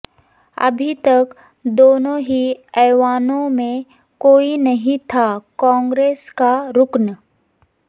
ابھی تک دونوں ہی ایوانوں میں کوئی نہیں تھا کانگریس کا رکن